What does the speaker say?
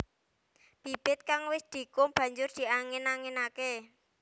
Bibit kang wis dikum banjur diangin anginaké